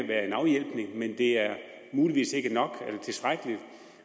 være en afhjælpning men det er muligvis ikke nok eller tilstrækkeligt